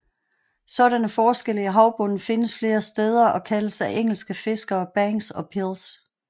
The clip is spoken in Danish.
Sådanne forskelle i havbunden findes flere steder og kaldes af engelske fiskere banks og pils